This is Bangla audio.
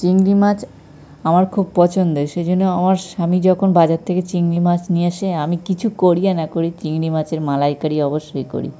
চিংড়ি মাছ আমার খুব পছন্দের। সেজন্য আমার স্বামী যখন বাজার থেকে চিংড়ি মাছ নিয়ে আসে আমি কিছু করি না করি চিংড়ি মাছের মালাইকারি অবশ্যই করি।